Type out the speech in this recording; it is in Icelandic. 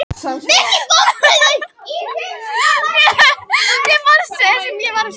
Mér fannst sem ég væri að sökkva.